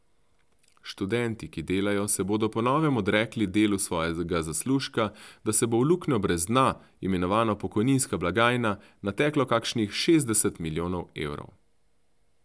Študenti, ki delajo, se bodo po novem odrekli delu svojega zaslužka, da se bo v luknjo brez dna, imenovano pokojninska blagajna, nateklo kakšnih šestdeset milijonov evrov.